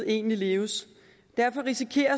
egentlig leves derfor risikerer